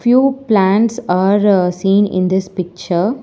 Few plants are seen in this picture.